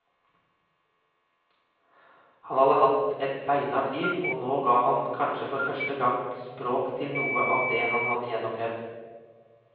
Han hadde hatt et beinhardt liv, og nå ga han kanskje for første gang språk til noe av det han hadde gjennomlevd.